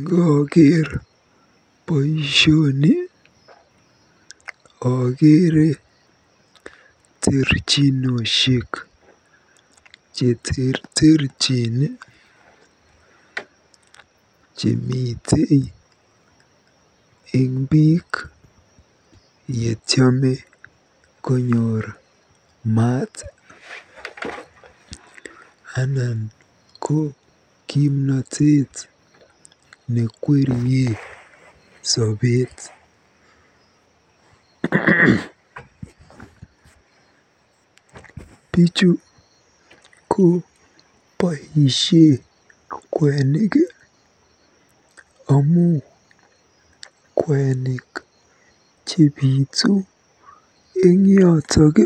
Ngooker boisioni akeere terchinoshek cheterterchin chemite eng biik yetiame konyoor maat anan ko kimnatet nekwerie sobeet. Bichu koboisie kwenik amu kwenik chebitu eng yotok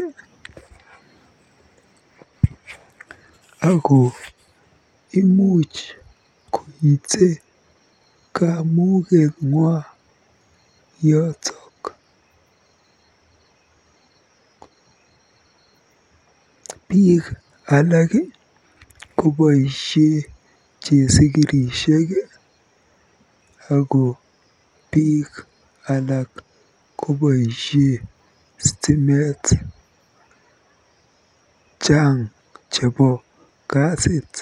ako imuch koite kamuketng'wa yotok. Biik alak koboisie chesikirishek ako biik alak koboisie stimet. chang chebo kasit.